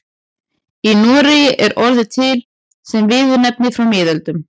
Í Noregi er orðið til sem viðurnefni frá miðöldum.